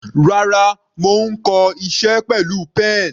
Rárá, mo ń kọ iṣẹ́ pẹ̀lú pen.